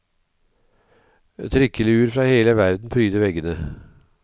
Trikkeluer fra hele verden pryder veggene.